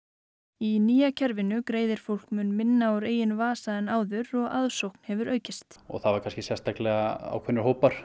í nýja kerfinu greiðir fólk mun minna úr eigin vasa en áður aðsókn hefur aukist og það voru kannski sérstaklega ákveðnir hópar